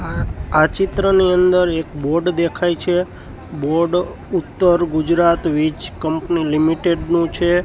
આ આ ચિત્રની અંદર એક બોર્ડ દેખાય છે board Uttar Gujarat Vij company limited નુ છે.